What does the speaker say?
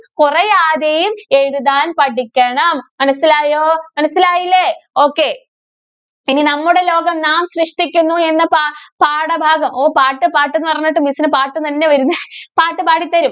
കൊറയാതെയും എഴുതാന്‍ പഠിക്കണം. മനസ്സിലായോ? മനസ്സിലായില്ലേ? okay. ഇനി നമ്മുടെ ലോകം നാം സൃഷ്‌ടിക്കുന്നു എന്ന പാ~പാഠഭാഗം ഓ, പാട്ട്, പാട്ട് എന്ന് പറഞ്ഞിട്ട് miss ന് പാട്ട് തന്നെയാ വരുന്നേ പാട്ട് പാടിതരും.